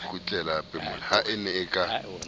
ha a ne a ka